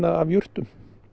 af jurtum